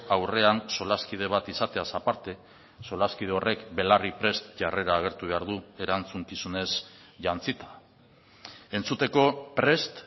aurrean solaskide bat izateaz aparte solaskide horrek belarriprest jarrera agertu behar du erantzukizunez jantzita entzuteko prest